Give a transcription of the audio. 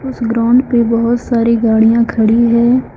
उस ग्राउंड पे बहोत सारी गाड़ियां खड़ी है।